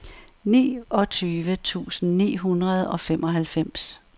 niogtyve tusind ni hundrede og femoghalvfems